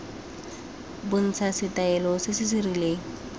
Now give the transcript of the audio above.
bontsha setaele se se rileng